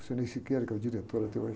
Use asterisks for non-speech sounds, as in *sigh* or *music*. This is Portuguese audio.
O, *unintelligible* que é o diretor até hoje.